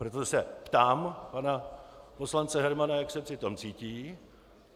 Proto se ptám pana poslance Hermana, jak se při tom cítí.